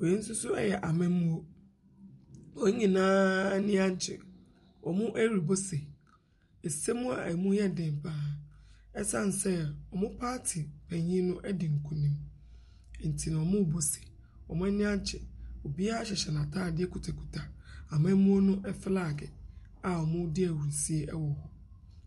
Wei nso so ɛyɛ amammuo, wɔn nyinaa ani agye. Wɔn mo ɛrebɔ se. Se mu a emu yɛ den paa. Ɛsiane sɛ ɔmo paati panyin no edi nkunim, nti ɔmo bɔ se. Ɔmo ani agye, obiaa hyehyɛ n'atadeɛ kita kita amammuo no filag a ɔmo di ahurusie ɛwɔ hɔ.